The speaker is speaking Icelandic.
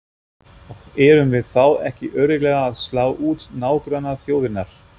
Og erum við þá ekki örugglega að slá út nágrannaþjóðirnar?